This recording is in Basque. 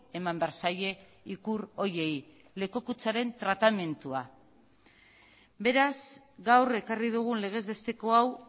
eman behar zaie ikur horiei lekukotzaren tratamendua beraz gaur ekarri dugun legezbesteko hau